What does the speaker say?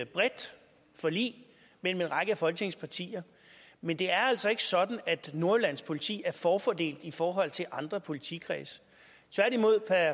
bredt forlig mellem en række af folketingets partier men det er altså ikke sådan at nordjyllands politi er forfordelt i forhold til andre politikredse tværtimod per